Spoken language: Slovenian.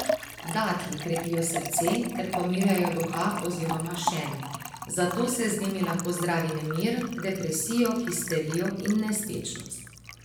Datlji krepijo srce ter pomirjajo duha oziroma šen, zato se z njimi lahko zdravi nemir, depresijo, histerijo in nespečnost.